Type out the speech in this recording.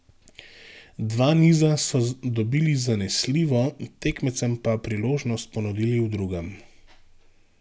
Dva niza so dobili zanesljivo, tekmecem pa priložnost ponudili v drugem.